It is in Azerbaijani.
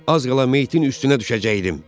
Az qala meyyitin üstünə düşəcəkdim.